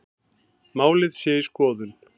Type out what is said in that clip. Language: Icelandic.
Málið sé í skoðun